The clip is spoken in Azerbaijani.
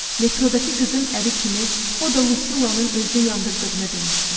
Metrodakı qızın əri kimi, o da Lucilanın özünü yandırdığını demişdi.